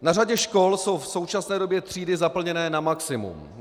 Na řadě škol jsou v současné době třídy zaplněné na maximum.